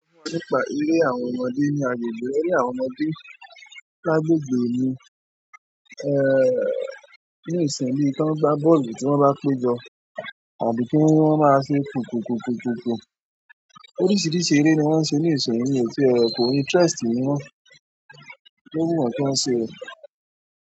Nípa eré àwọn ọmọdé ní agbègbè eré àwọn ọmọdé lágbègbè mi, ní ìsìnmi tí wọ́n ń gbá bọ́ọ̀lù tí wọ́n bá péjọ àbí kí wọ́n ní wọ́n máa ṣe kùkùkùkùkùkù oríṣìíríṣìí eré ni wọ́n ń ṣe ní ìsinyìí mi ò tiẹ̀, kò interest mi mọ́. Ohun tó wù wọ́n kí wọ́n ṣe o.